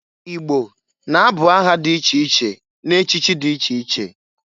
I gbo na-abụ aha dị iche iche na-echichi dị iche iche.